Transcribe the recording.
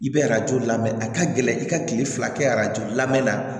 I bɛ arajo lamɛn a ka gɛlɛ i ka kile fila kɛ arajo lamɛn na